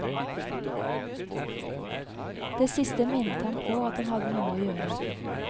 Det siste minnet ham på at han hadde noe å gjøre.